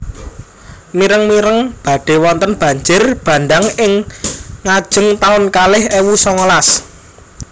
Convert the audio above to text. Mireng mireng badhe wonten banjir bandhang ing ngajeng taun kalih ewu songolas